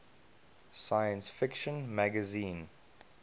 science fiction magazine